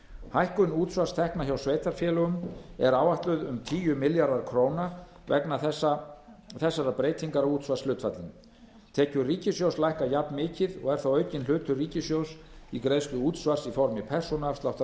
hækkun útsvarstekna hjá sveitarfélögunum er áætluð um tíu milljarðar króna vegna þessarar breytingar á útsvarshlutfallinu tekjur ríkissjóðs lækka jafnmikið og er þá aukinn hlutur ríkissjóðs í greiðslu útsvars í formi persónuafsláttar